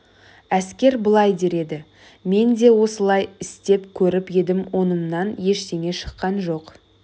әскер былай дер еді мен де осылай істеп көріп едім онымнан ештеңе шыққан жоқ